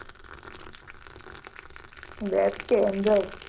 web કે android